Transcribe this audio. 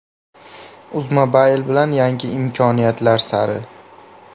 UZMOBILE bilan yangi imkoniyatlar sari!.